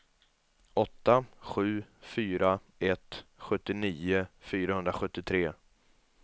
åtta sju fyra ett sjuttionio fyrahundrasjuttiotre